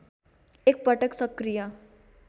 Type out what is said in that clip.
एक पटक सकृय